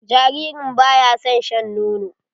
Jaririn ba ya son shan nono.